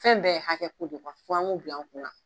Fɛn bɛɛ ye hakɛ ko de fɔ an ŋ'o bil'an kun na.